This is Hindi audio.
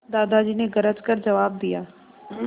दादाजी ने गरज कर जवाब दिया